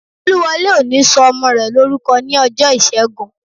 Olúwọlé ò ní sọ ọmọ rẹ̀ lórúkọ ní ọjọ́ ìṣẹ́gun